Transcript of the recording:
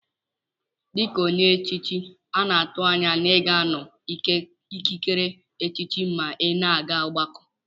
Dika onye echichi ana atu anya na iga anọ na ikikere echichi ma ina aga ọgbakọ.